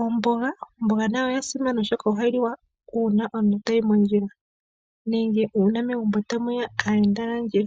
omboga nayo oya simana oshoka ohayi liwa uuna omuntu tayi mondjila, uuna megumbo tamuya aayenda.